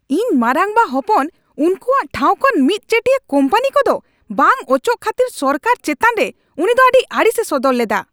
ᱤᱧ ᱢᱟᱨᱟᱝᱵᱟ ᱦᱚᱯᱚᱱ ᱩᱱᱠᱩᱣᱟᱜ ᱴᱷᱟᱶ ᱠᱷᱚᱱ ᱢᱤᱫᱪᱮᱴᱤᱭᱟ ᱠᱳᱢᱯᱟᱱᱤ ᱠᱚᱫᱚ ᱵᱟᱝ ᱚᱪᱚᱜ ᱠᱷᱟᱹᱛᱤᱨ ᱥᱚᱨᱠᱟᱨ ᱪᱮᱛᱟᱱᱨᱮ ᱩᱱᱤᱫᱚ ᱟᱹᱰᱤ ᱟᱹᱲᱤᱥᱮ ᱥᱚᱫᱚᱨ ᱞᱮᱫᱟ ᱾